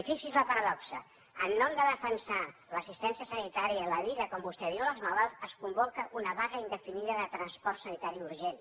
i fixi’s la paradoxa en nom de defensar l’assistència sanitària i la vida com vostè diu dels malalts es convoca una vaga indefinida de transport sanitari urgent